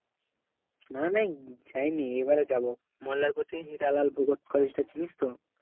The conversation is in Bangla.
না না যাই নি এবারে যাব মল্লারপুর থেকে হিরালাল ভুগোত collage টা চিনিস তো